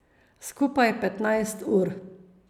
Skupaj petnajst ur.